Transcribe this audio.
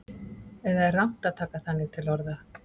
Eða er rangt að taka þannig til orða?